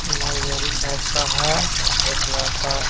library type का है एक लड़का --